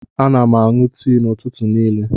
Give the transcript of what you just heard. Ana m aṅụ tii n'ụtụtụ niile.